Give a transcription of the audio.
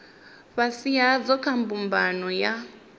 fhasi hadzo kha mbumbano ya